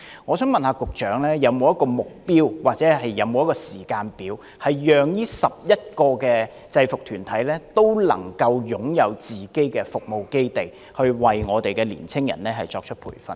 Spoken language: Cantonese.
我想請問局長，當局有沒有設定目標或時間表，以期讓這11個制服團體都能夠擁有自己的服務基地，以便為年青人提供培訓？